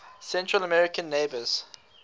central american neighbors